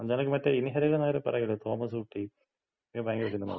അത് നിനക്ക് മറ്റേ ഇൻഹരിഹർ നഗറില് പറയൂലെ തോമസൂട്ടി. അത് ഭയങ്കര സിനിമയാ.